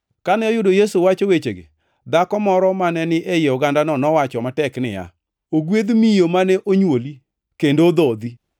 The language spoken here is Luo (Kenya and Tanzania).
Kane oyudo Yesu wacho wechegi dhako moro maneni ei ogandano nowacho matek niya, “Ogwedh miyo mane onywoli kendo odhodhi.”